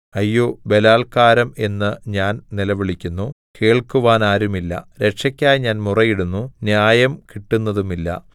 അയ്യോ ബലാല്ക്കാരം എന്ന് ഞാൻ നിലവിളിക്കുന്നു കേൾക്കുവാനാരുമില്ല രക്ഷക്കായി ഞാൻ മുറയിടുന്നു ന്യായം കിട്ടുന്നതുമില്ല